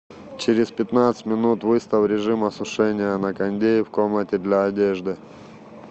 через пятнадцать минут выставь режим осушения на кондее в комнате для одежды